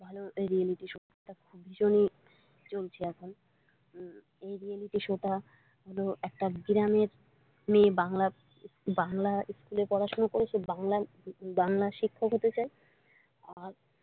ভালো রিয়েলিটিশো টা ভীষণই চলছে এখন এই রিয়েলিটিশো টা একটা গ্রামের মেয়ে বাংলা ইস্কুলে পড়াশোনা করেছে বাংলা শিক্ষক হতে চায় আর।